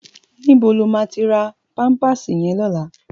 Nibó ló ma ti rá pàmpásí yèn lòlá?